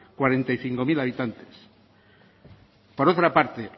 cuarenta y cinco mil habitantes por otra parte